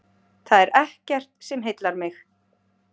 Það er ekkert sem heillar mig.